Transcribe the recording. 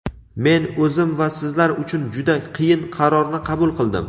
Men o‘zim va sizlar uchun juda qiyin qarorni qabul qildim.